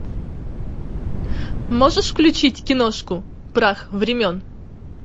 можешь включить киношку прах времен